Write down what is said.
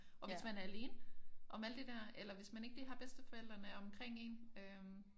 Og hvis man er alene om alt det der eller hvis man ikke lige har bedsteforældrene omkring en?